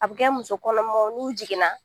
A bɛ kɛ musokɔnɔmaw n'u jiginna